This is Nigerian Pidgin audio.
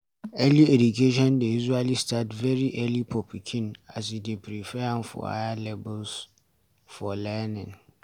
Early education dey usually start very early for pikin and e dey prepare am for higher levels pf learning